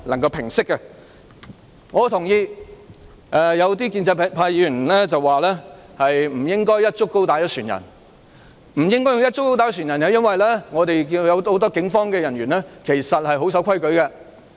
我認同一些建制派議員的說法，即不應"一竹篙打一船人"，因為我們看到很多警務人員其實也是守規矩的。